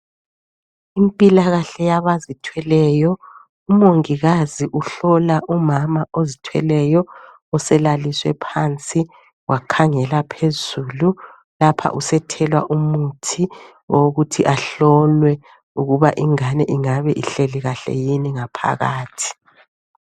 Impilakahle yabazithweleyo, umongikazi uhlola umama ozithweleyo. Uselaliswe phansi wakhangela phezulu ,lapha usethelwa umuthi owokuthi ahlolwe ukuba ingane ingabe ihleli kahle yini ngaphakathi.